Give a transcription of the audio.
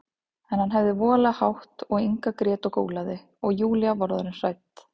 En hann hafði voðalega hátt og Inga grét og gólaði, og Júlía var orðin hrædd.